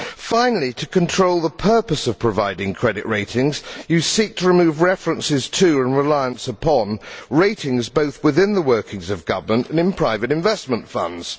Finally, to control the purpose of providing credit ratings, you seek to remove references to and reliance upon ratings, both within the workings of government and in private investment funds.